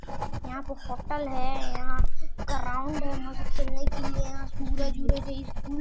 यहाँ पर कपल है यहाँ पर ग्राउड है या खेलने के लिए यहाँ सूरज वूरज है।